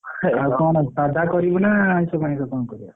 ଆଉ କଣ ସାଧା କରିବା ନା ଆଇଷ ମାଇସ କଣ କରିବା?